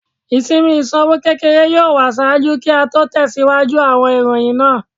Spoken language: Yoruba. Isinmi iṣowo kekere yoo wa ṣaaju ki a tẹsiwaju awọn iroyin naa